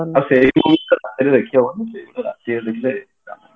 ଆଉ ସେଇ movie ତ ରାତିରେ ଦେଖି ହବନି